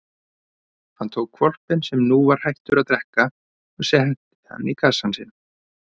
Hann tók hvolpinn sem nú var hættur að drekka og setti hann í kassann sinn.